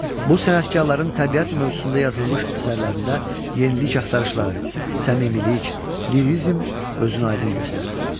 Bu sənətkarların təbiət mövzusunda yazılmış əsərlərində yenilik axtarışları, səmimilik, lirizm özünü aydın göstərirdi.